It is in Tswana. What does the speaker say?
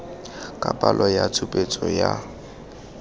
ka palo ya tshupetso ya